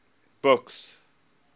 buks